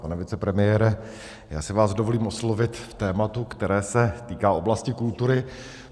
Pane vicepremiére, já si vás dovolím oslovit v tématu, které se týká oblasti kultury.